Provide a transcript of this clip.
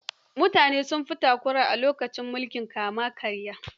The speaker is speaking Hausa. Mutane suna takura a mulkin kama-karya.